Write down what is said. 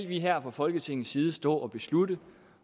vi her fra folketingets side skal stå og beslutte